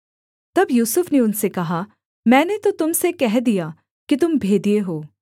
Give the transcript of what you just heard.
तब यूसुफ ने उनसे कहा मैंने तो तुम से कह दिया कि तुम भेदिए हो